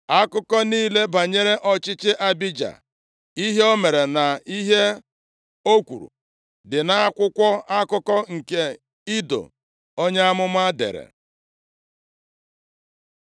Akụkọ niile banyere ọchịchị Abija, ihe o mere na ihe o kwuru, dị nʼakwụkwọ akụkọ nke Ido onye amụma dere.